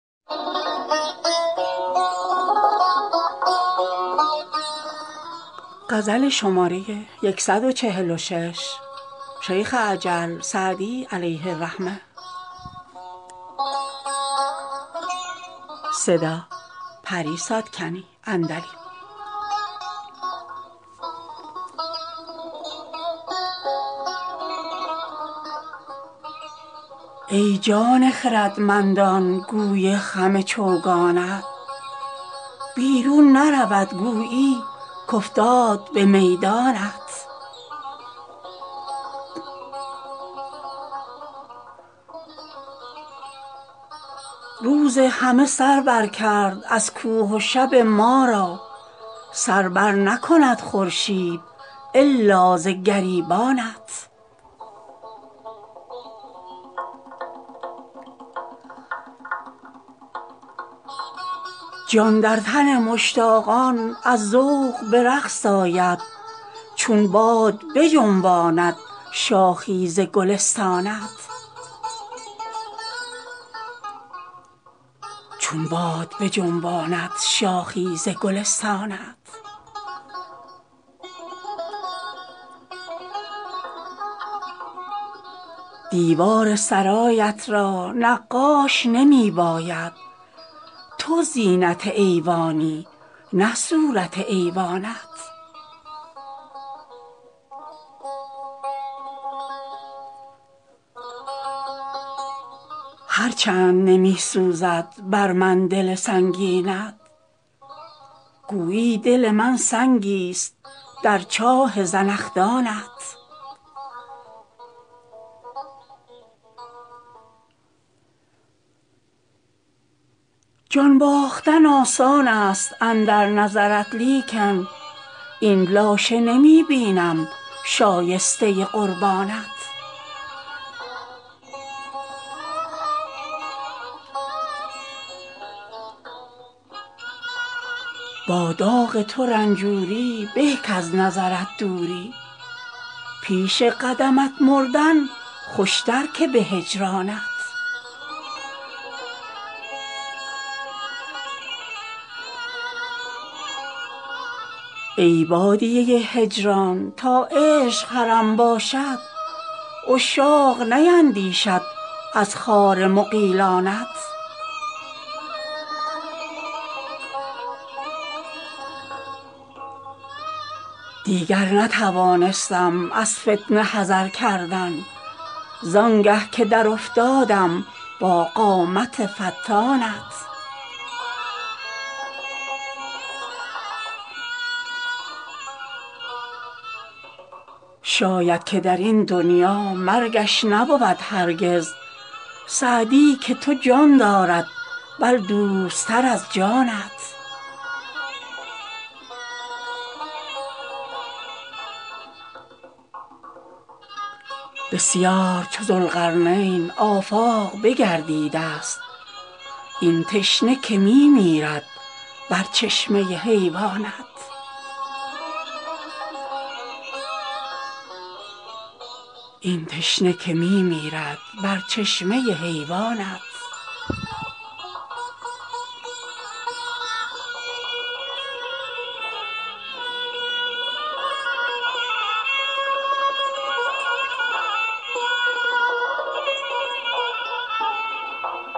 ای جان خردمندان گوی خم چوگانت بیرون نرود گویی کافتاد به میدانت روز همه سر بر کرد از کوه و شب ما را سر بر نکند خورشید الا ز گریبانت جان در تن مشتاقان از ذوق به رقص آید چون باد بجنباند شاخی ز گلستانت دیوار سرایت را نقاش نمی باید تو زینت ایوانی نه صورت ایوانت هر چند نمی سوزد بر من دل سنگینت گویی دل من سنگیست در چاه زنخدانت جان باختن آسان است اندر نظرت لیکن این لاشه نمی بینم شایسته قربانت با داغ تو رنجوری به کز نظرت دوری پیش قدمت مردن خوشتر که به هجرانت ای بادیه هجران تا عشق حرم باشد عشاق نیندیشند از خار مغیلانت دیگر نتوانستم از فتنه حذر کردن زآنگه که در افتادم با قامت فتانت شاید که در این دنیا مرگش نبود هرگز سعدی که تو جان دارد بل دوست تر از جانت بسیار چو ذوالقرنین آفاق بگردیده ست این تشنه که می میرد بر چشمه حیوانت